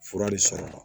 Fura le sara la